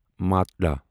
ماٹلا